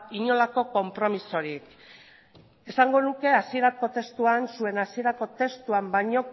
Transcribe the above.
inolako konpromezurik esango nuke zuen hasierako testuan baino